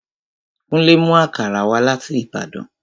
Kúnlé mú àkàrà wá láti Ìbàdàn